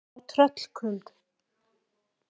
Þá tröllkund